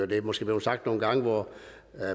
det er måske blevet sagt nogle gange hvor